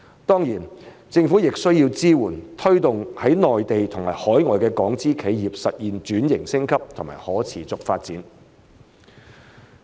當然，政府亦需要支援和推動在內地和海外的港資企業實現轉型升級和可持續發展。